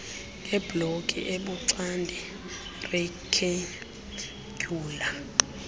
ngebloki ebuxande rektendyula